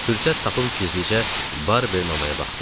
Fürsət tapıb gizlicə Barbeinin anaya baxdım.